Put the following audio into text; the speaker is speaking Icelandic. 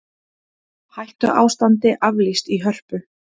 Hættuástandi aflýst í Hörpu